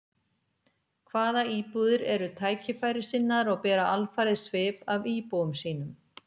Hvað íbúðir eru tækifærissinnaðar og bera alfarið svip af íbúum sínum.